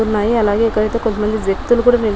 ఉన్నాయి అలాగే ఇక్కడైతే కొంత మంది వ్యక్తులు కుడా నిల్ --